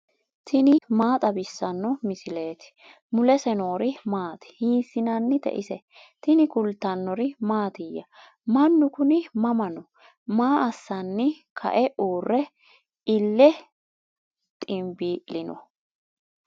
tini maa xawissanno misileeti ? mulese noori maati ? hiissinannite ise ? tini kultannori mattiya? Mannu kunni mama noo? Maa assanni kae uure iille xinbii'linno?